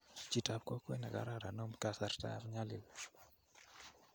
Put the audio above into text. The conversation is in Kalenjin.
Chitap kokwe nikararan om kasartap nyalil.